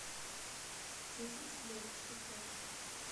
десять лет спустя